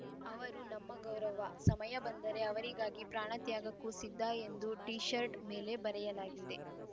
ಅವರು ನಮ್ಮ ಗೌರವ ಸಮಯ ಬಂದರೆ ಅವರಿಗಾಗಿ ಪ್ರಾಣ ತ್ಯಾಗಕ್ಕೂ ಸಿದ್ಧ ಎಂದು ಟಿ ಶರ್ಟ್‌ ಮೇಲೆ ಬರೆಯಲಾಗಿದೆ